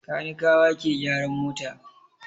Kanikawa ke gyaran mota.